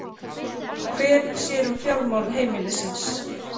Hver sér um fjármál heimilisins?